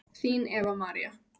Þín Eva María.